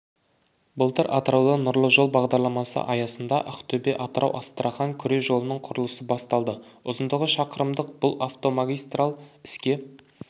былтыр атырауда нұрлы жол бағдарламасы аясында ақтөбе-атырау-астрахань күре жолының құрылысы басталды ұзындығы шақырымдық бұл автомагистраль іске